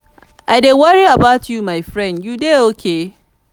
i dey worry about you my friend you dey okay?